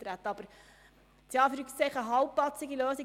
Die andere Variante wäre eine halbpatzige Lösung.